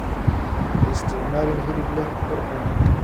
Ha isticmaalin hilib leh ur xun.